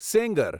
Sengar